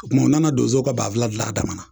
O kuma u nana donzow ka banfula gila a damana